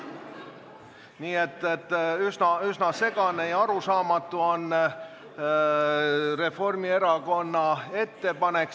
Nii et üsna segane ja arusaamatu on Reformierakonna ettepanek.